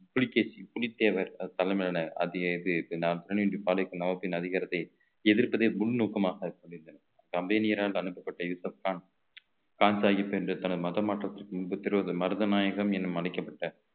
புலிகேசி புலித்தேவர் அவர் தலைமையிலான நவாபின் அதிகாரத்தை எதிர்ப்பதே முன்நோக்கமாக சொல்லிருந்தேன் company யாரால் அனுப்பப்பட்ட யூசப்கான் கான்சாகிப் என்ற தனது மத மாற்றத்திற்கு முன்பு திருவது மருதநாயகம் என அழைக்கப்பட்ட